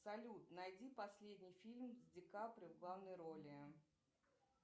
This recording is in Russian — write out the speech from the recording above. салют найди последний фильм с ди каприо в главной роли